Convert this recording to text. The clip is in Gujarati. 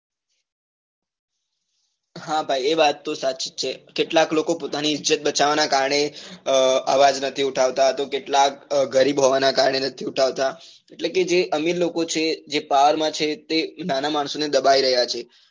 હા ભાઈ એ વાત તો સાચી જ છે કેટલાક લોકો પોતાની ઈજ્જત બચાવવા ના કારણે અવાજ નથી ઉઠાવતા તો કેટલાક ગરીબ હોવા ને કારણે નથી ઉઠાવતા એટલે કે જ અમીર લોકો છે જે power માં છે તે નાના માણસો ને દબાવી રહ્યા છે.